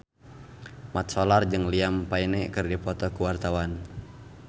Mat Solar jeung Liam Payne keur dipoto ku wartawan